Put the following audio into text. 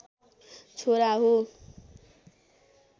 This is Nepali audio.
छोरा हो